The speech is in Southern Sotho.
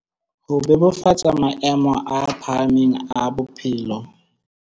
Ho bebofatsa maemo a phahamang a bophelo.